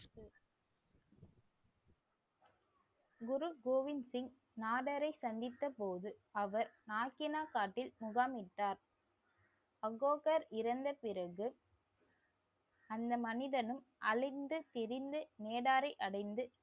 குரு கோவிந்த் சிங் நாதரை சந்தித்த போது அவர் நாகினா காட்டில் முகாமிட்டார் அகோகர் இறந்த பிறகு அந்த மனிதனும் அலைந்து திரிந்து மேடாரை அடைந்து